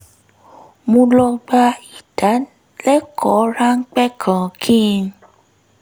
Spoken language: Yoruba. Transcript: mo lọ gba ìdálẹ́kọ̀ọ́ ráńpẹ́ kan kí n